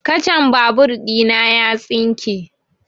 Kacan babur ɗina ya tsinke